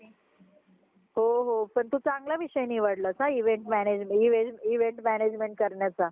औषध टाकूनच मोठे केले जातात तर ते पण हानिकारक असत पण काहीच इलाज नसतो पण आपल्याला ते खवच लागता पण आपण आपल्या ह्याच्यानी ते स्वच्छ साफ करून चांगल धून, निवडून